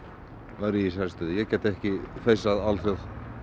væri ég í þessari stöðu ég gæti ekki feisað alþjóð